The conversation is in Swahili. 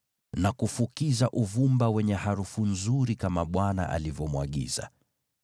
na kufukiza uvumba wenye harufu nzuri, kama Bwana alivyomwagiza.